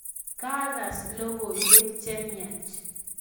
kakas logoywek chemiach